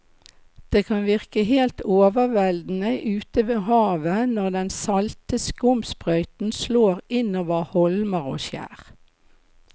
Det kan virke helt overveldende ute ved havet når den salte skumsprøyten slår innover holmer og skjær.